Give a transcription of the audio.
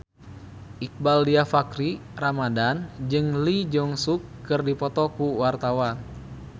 Iqbaal Dhiafakhri Ramadhan jeung Lee Jeong Suk keur dipoto ku wartawan